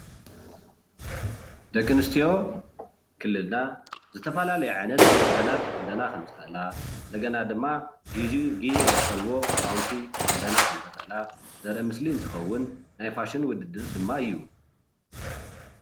ደቂ ኣነስትዮ ክልልና ዝተፈላለዩ ዓይነት ክዳናት ክክደና ከም ዝክእላ እንደገና ድማ ግዝኡ ግዜ ዝጠልቦ ክዳውንቲ ክክዳና ከምዝክእላ ዘርኢ ምስል እንትከውን ናይ ፋሽን ውድድር ድማ እዩ፡፡